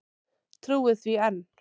Trúir því enn.